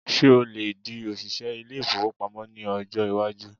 Ṣé o lè di òṣìṣẹ ilé-ìfowópamọ́ ní ọjọ́ iwájú?